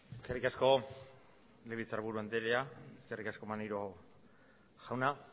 eskerrik asko legebiltzarburu anderea eskerrik asko maneiro jauna